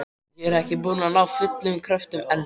Og er ekki búin að ná fullum kröftum enn.